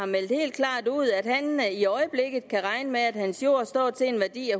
har meldt helt klart ud at han i øjeblikket kan regne med at hans jord står til en værdi